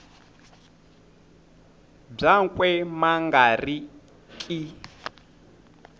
byakwe ma nga ri ki